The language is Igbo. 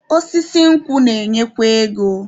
Osisi nkwụ na-enyekwa ego.